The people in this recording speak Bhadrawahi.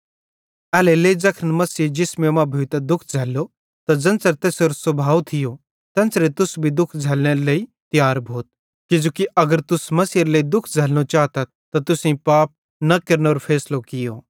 एल्हेरेलेइ ज़ैखन मसीहे जिसमे मां भोइतां दुःख झ़ैल्लो त ज़ेन्च़रे तैसेरो स्भाव थियो तेन्च़रे तुस भी दुःख झ़ैल्लनेरे लेइ तियार भोथ किजोकि अगर तुस मसीहेरे लेइ दुःख झ़ैल्लनो चातथ त तुसेईं पाप न केरनेरो फैसलो कियो